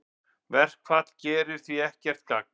Verkfall gerir því ekkert gagn